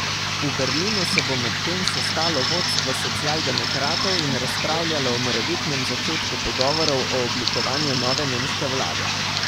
V Berlinu se bo medtem sestalo vodstvo socialdemokratov in razpravljalo o morebitnem začetku pogovorov o oblikovanju nove nemške vlade.